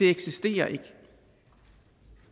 eksisterer